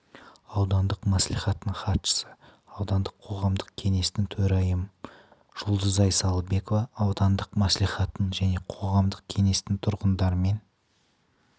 аудандық мәслихатының хатшысы аудандық қоғамдық кеңестің төрайымы жұлдызай салыбекова аудандық мәслихаттың және қоғамдық кеңестің тұрғындармен